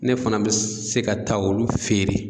Ne fana bɛ se ka taa olu feere.